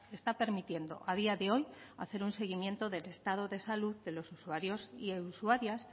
está permitiendo a día de hoy hacer un seguimiento del estado de salud de los usuarios y usuarias